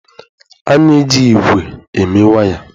A na-eji ígwè eme waya.